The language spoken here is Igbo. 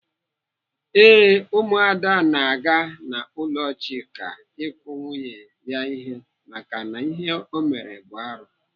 Ee, Ụmụada na-aga n'ụlọ Chika ịkụ nwunye ya ihe maka na ihe ọ mere bụ arụ.